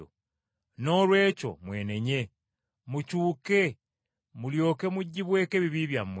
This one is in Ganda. Noolwekyo mwenenye, mukyuke, mulyoke mugibweko ebibi byammwe,